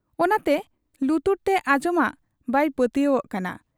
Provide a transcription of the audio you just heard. ᱚᱱᱟᱛᱮ ᱞᱩᱛᱩᱨ ᱛᱮ ᱟᱧᱡᱚᱢᱟᱜ ᱵᱟᱭ ᱯᱟᱹᱛᱭᱟᱹᱣᱟᱜ ᱠᱟᱱᱟ ᱾